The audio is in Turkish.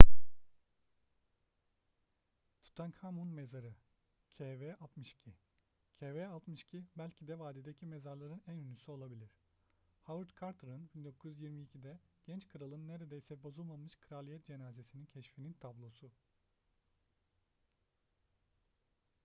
tutankhamun mezarı kv62. kv62 belki de vadideki mezarların en ünlüsü olabilir. howard carter'ın 1922'de genç kralın neredeyse bozulmamış kraliyet cenazesini keşfinin tablosu